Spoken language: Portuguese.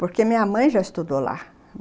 Porque minha mãe já estudou lá.